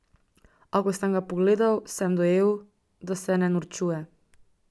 A ko sem ga pogledal, sem dojel, da se ne norčuje.